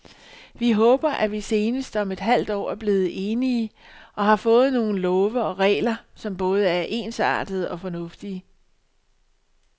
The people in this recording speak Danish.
Vi håber, at vi senest om et halvt år er blevet enige og har fået nogle love og regler, som både er ensartede og fornuftige.